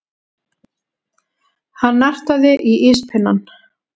Hann nartaði í íspinnann.